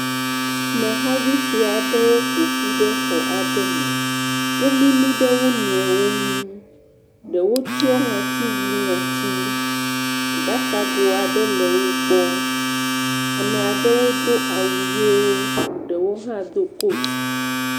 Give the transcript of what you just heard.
Ameha vi sue aɖewo ƒoƒu ɖe xɔ aɖe me, wo mimi ɖe wo nɔewo ŋu, ɖewo tsyɔ̃ nu ŋɔti, aɖakago aɖewo le woƒe gbɔ, ame aɖewo do awu ʋewo ɖewo hã do kati.